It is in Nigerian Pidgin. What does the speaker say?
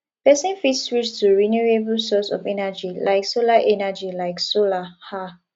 person fit switch to renewable source of energy like solar energy like solar um